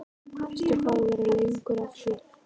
Veistu hvað þú verður lengi að því?